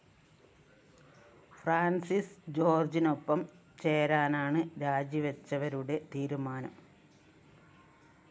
Francis ജോര്‍ജിനൊപ്പം ചേരാനാണ് രാജിവച്ചവരുടെ തീരുമാനം